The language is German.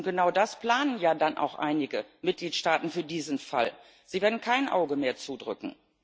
Und genau das planen ja dann auch einige Mitgliedstaaten für diesen Fall. Sie werden kein Auge mehr zudrücken.